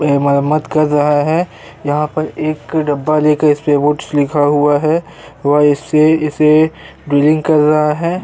इसमें मरम्मत कर रहा है। यहाँ एक डब्बा लेकर इसपे कुछ लिखा हुआ है व इससे इसे ड्रिलिंग कर रहा है।